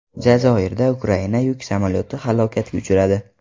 Jazoirda Ukraina yuk samolyoti halokatga uchradi.